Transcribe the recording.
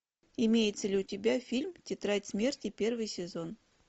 имеется ли у тебя фильм тетрадь смерти первый сезон